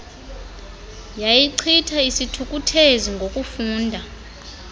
yayichitha isithukuthezi ngokufunda